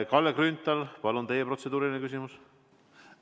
Kalle Grünthal, palun, teie protseduuriline küsimus!